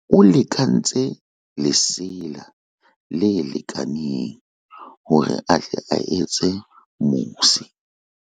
o lekantse lesela le lekaneng hore a tle a etse mose